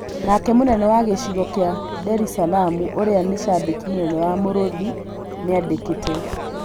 Nake mũnene wa gĩcigo kĩa Nderisalamu ũrĩa nĩ cambĩki mũnene wa Mũrũthi nĩandĩkĩte.